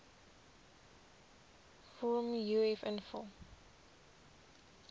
vorm uf invul